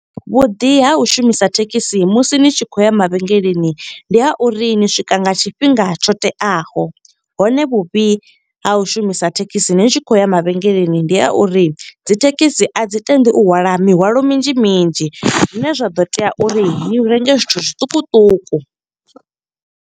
Vhuḓi ha u shumisa thekhisi musi ni tshi khou ya mavhengeleni, ndi ha uri ni swika nga tshifhinga tsho teaho. Hone vhuvhi ha u shumisa thekhisi ni tshi khou ya mavhengeleni, ndi a uri dzi thekhisi a dzi tendi u hwala mihwalo minzhi minzhi. Zwine zwa ḓo tea uri ni renge zwithu zwiṱukuṱuku.